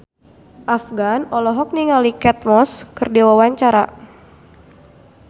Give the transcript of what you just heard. Afgan olohok ningali Kate Moss keur diwawancara